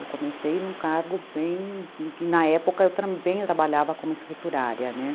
Eu comecei num cargo bem... Na época, eu também trabalhava como escriturária, né?